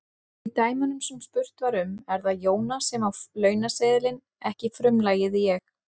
Í dæmunum sem spurt var um er það Jóna sem á launaseðilinn, ekki frumlagið ég.